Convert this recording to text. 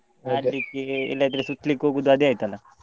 ಅದಿಕ್ಕೆ ಎಲ್ಲಾದ್ರು ಸುತ್ಲಿಕ್ಕೇ ಹೋಗುವುದು ಅದೇ ಆಯ್ತಲ್ಲಾ.